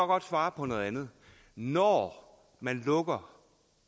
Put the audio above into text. godt svare på noget andet når man lukker